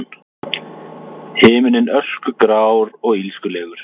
Himinninn öskugrár og illskulegur.